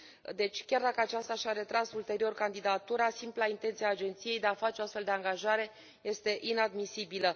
Deci, chiar dacă aceasta și a retras ulterior candidatura, simpla intenție a agenției de a face o astfel de angajare este inadmisibilă.